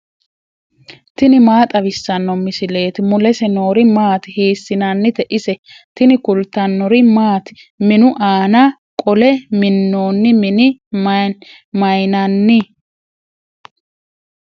tini maa xawissanno misileeti ? mulese noori maati ? hiissinannite ise ? tini kultannori maati? Minnu aanna qole minnoonni minne mayiinnanni?